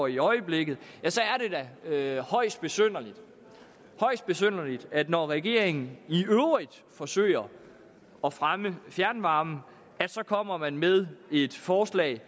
i øjeblikket er det da højst besynderligt besynderligt at når regeringen i øvrigt forsøger at fremme fjernvarmen så kommer man med et forslag